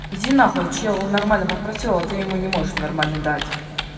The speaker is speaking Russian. иди нахуй человек нормально попросил а ты ему не можешь нормально дать